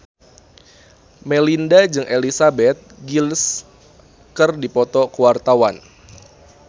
Melinda jeung Elizabeth Gillies keur dipoto ku wartawan